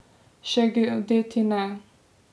Še geodeti ne.